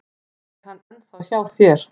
Er hann ennþá hjá þér?